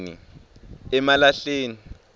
emalahleni